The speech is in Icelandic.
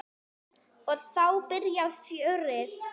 Og þá byrjaði fjörið.